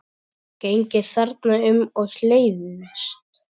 Gengið þarna um og leiðst.